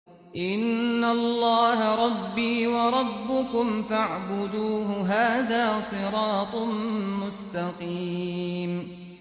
إِنَّ اللَّهَ رَبِّي وَرَبُّكُمْ فَاعْبُدُوهُ ۗ هَٰذَا صِرَاطٌ مُّسْتَقِيمٌ